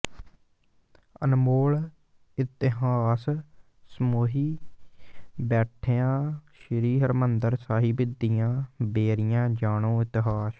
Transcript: ਅਨਮੋਲ ਇਤਿਹਾਸ ਸਮੋਈ ਬੈਠੀਆਂ ਸ੍ਰੀ ਹਰਮੰਦਿਰ ਸਾਹਿਬ ਦੀਆਂ ਬੇਰੀਆਂ ਜਾਣੋ ਇਤਿਹਾਸ